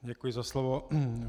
Děkuji za slovo.